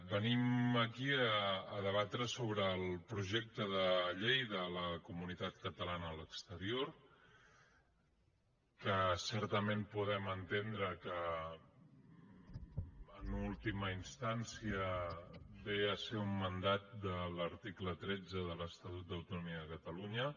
venim aquí a debatre sobre el projecte de llei de la comunitat catalana a l’exterior que certament podem entendre que en última instància ve a ser un mandat de l’article tretze de l’estatut d’autonomia de catalunya